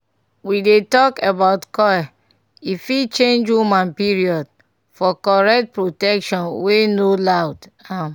we dey talk about coil e fit change woman period - for correct protection wey no loud. um